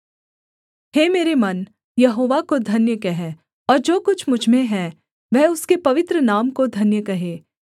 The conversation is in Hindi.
हे मेरे मन यहोवा को धन्य कह और जो कुछ मुझ में है वह उसके पवित्र नाम को धन्य कहे